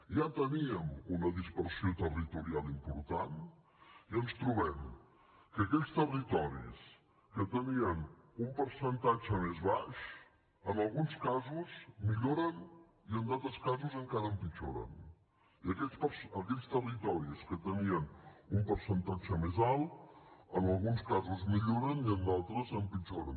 ja teníem una dispersió territorial important i ens trobem que aquells territoris que tenien un percentatge més baix en alguns casos milloren i en altres casos encara empitjoren i aquells territoris que tenien un percentatge més alt en alguns ca sos mi lloren i en d’altres empitjoren